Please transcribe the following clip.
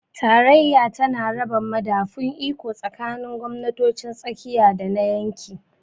Tarayya tana raba madafun iko tsakanin gwamnatocin tsakiya da na yanki.